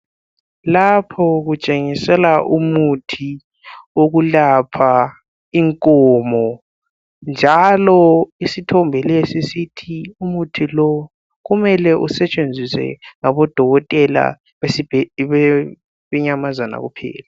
Lapho kutshengisela umuthi wokulapha inkomo njalo isithombe lesi sithi umuthi lo kumele usetshenziswe ngodokotela bemnyamazana kuphela.